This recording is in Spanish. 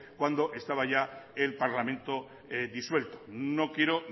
cuando estaba ya el parlamento disuelto no quiero